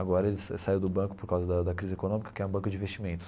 Agora ele sa saiu do banco por causa da da crise econômica, que é um banco de investimentos.